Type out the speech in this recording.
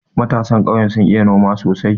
Matasan ƙauye sun iya noma sosai.